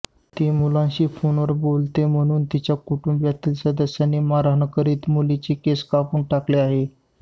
ती मुलांशी फोनवर बोलते म्हणून तिच्या कुटुंबातील सदस्यांनी मारहाण करीत मुलीचे केस कापून टाकले आहे